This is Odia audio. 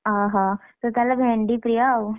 ଓହୋ ତୁ ତାହେଲେ ଭେଣ୍ଡି ପ୍ରିୟ ଆଉ,